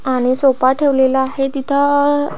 आणि सोफा ठेवलेला आहे तिथ --